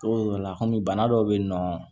Togo dɔ la kɔmi bana dɔ be yen nɔ